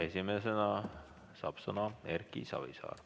Esimesena saab sõna Erki Savisaar.